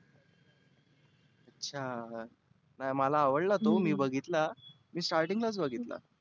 अच्छा नाही मला आवडला तो मी बघितला मी starting लाच बघितला.